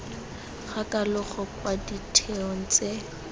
ga kalogo kwa ditheong tse